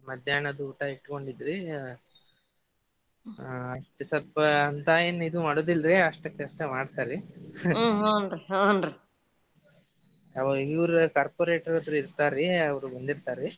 ಮಧ್ಯಾಹ್ನನದ್ದು ಊಟ ಇಟ್ಗೊಂಡಿದ್ರಿ ಹಾ ಅಟ್ ಸ್ವಲ್ಪ ಅಂತಾ ಏನ್ ಇದ್ ಮಾಡೋದಿಲ್ರಿ ಅಸ್ಟಕಸ್ಟ ಮಾಡ್ತಾರಿ ಆವ ಈ ಊರ corporator ಹತ್ರ ಇರ್ತಾರಿ ಅವ್ರು ಬಂದಿರ್ತಾರೀ.